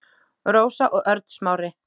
Rósa og Örn Smári.